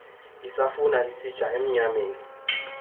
isafuna isitya emnyameni